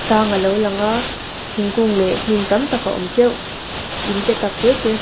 tlang alo lang a thingkung leh hnim tam tak a awm teuh in te tak tete hmuh tur--